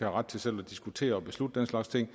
ret til selv at diskutere og beslutte den slags ting og